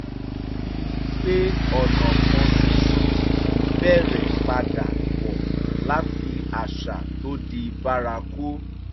ó rí i pé ọ̀nà kan ṣoṣo kì í bẹ̀rẹ̀ padà bọ́ láti àṣà tó di bárakú